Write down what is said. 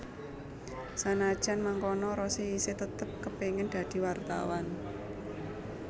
Sanajan mangkono Rossi isih tetep kepéngin dadi wartawan